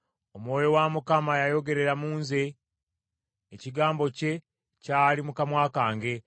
“Omwoyo wa Mukama yayogerera mu nze, ekigambo kye kyali mu kamwa kange.